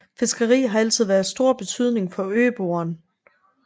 Fiskeri har altid været af stor betydning for øboerne